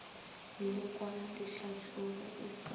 melekwana le ditlhahlobo e sa